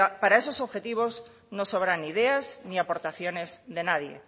para esos objetivos no sobran ideas ni aportaciones de nadie